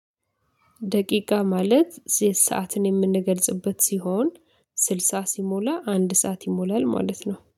ደቂቃ ማለት ሰዓትን የምንገልጽበት ሲሆን ስልሳ ሲሞላ አንድ ሰዓት ይሞላል ማለት ነው።